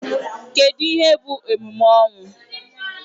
Kedụ ihe bụ emume ọnwụ?